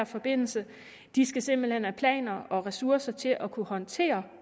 forbindelse de skal simpelt hen have planer og ressourcer til at kunne håndtere